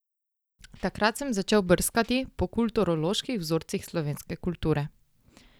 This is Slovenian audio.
Takrat sem začel brskati po kulturoloških vzorcih slovenske kulture.